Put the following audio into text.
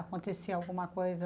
Acontecia alguma coisa?